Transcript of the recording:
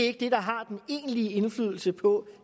ikke det der har den egentlige indflydelse på